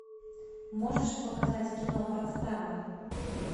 можешь показать кино подстава